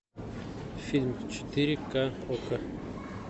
фильм четыре ка окко